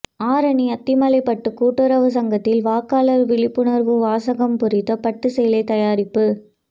ஆரணி அத்திமலைப்பட்டு கூட்டுறவு சங்கத்தில் வாக்காளர் விழிப்புணர்வு வாசகம் பொறித்த பட்டுச்சேலை தயாரிப்பு